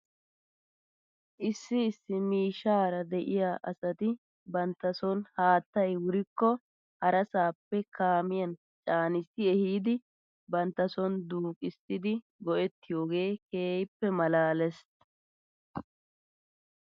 Issi issi miishshaara de'iyaa asati bantta son haattay wurkko harasaappe kaamiyan caanissi ehiidi banta son duuqissidi go'ettiyoogee keehippe malaales .